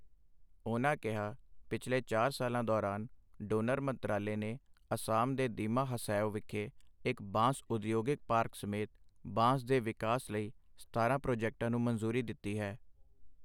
ਉਨ੍ਹਾਂ ਕਿਹਾ, ਪਿਛਲੇ ਚਾਰ ਸਾਲਾਂ ਦੌਰਾਨ, ਡੋਨਰ ਮੰਤਰਾਲੇ ਨੇ ਅਸਾਮ ਦੇ ਦੀਮਾ ਹਸੈਓ ਵਿਖੇ ਇੱਕ ਬਾਂਸ ਉਦਯੋਗਿਕ ਪਾਰਕ ਸਮੇਤ, ਬਾਂਸ ਦੇ ਵਿਕਾਸ ਲਈ ਸਤਾਰਾਂ ਪ੍ਰਾਜੈਕਟਾਂ ਨੂੰ ਮਨਜ਼ੂਰੀ ਦਿੱਤੀ ਹੈ।